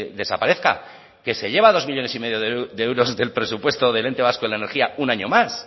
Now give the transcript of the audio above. desaparezca que se lleva dos millónes y medio de euros del presupuesto del ente vasco de la energía un año más